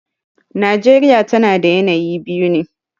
Najeriya tana da yanayi biyu ne.